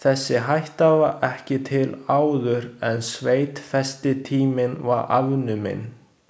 Þessi hætta var ekki til áður en sveitfestitíminn var afnuminn.